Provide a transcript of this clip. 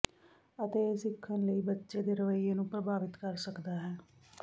ਅਤੇ ਇਹ ਸਿੱਖਣ ਲਈ ਬੱਚੇ ਦੇ ਰਵੱਈਏ ਨੂੰ ਪ੍ਰਭਾਵਤ ਕਰ ਸਕਦਾ ਹੈ